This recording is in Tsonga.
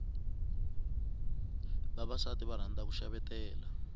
vavasati va rhandza ku xavetela